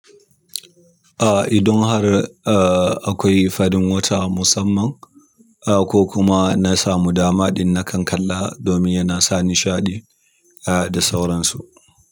Ah, idan har ah akwai farin wata musamman, ah ko kuma na samu dama ɗin na kan kalla domin yana sa nishaɗi ah da sauransu.